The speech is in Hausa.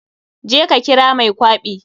Je ka kira mai kwaɓi.